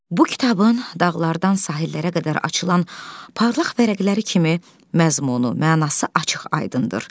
Bu kitabın dağlardan sahillərə qədər açılan parlaq vərəqləri kimi məzmunu, mənası açıq-aydındır.